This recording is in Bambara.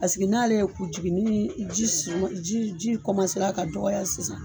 Paseke n'ale ye ku jigin nii ji s jii ji ra ka dɔgɔya sisan